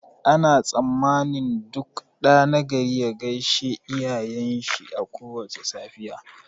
Ana tsammanin duk ɗa nagari ya gaishe iyayen shi a kowace safiya